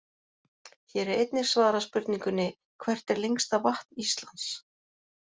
Hér er einnig svarað spurningunni: Hvert er lengsta vatn Íslands?